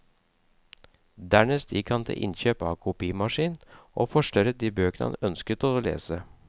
Dernest gikk han til innkjøp av kopimaskin, og forstørret de bøkene han ønsket å lese.